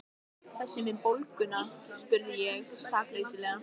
Þessi með bóluna? spurði ég sakleysislega.